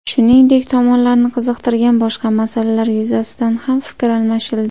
Shuningdek, tomonlarni qiziqtirgan boshqa masalalar yuzasidan ham fikr almashildi.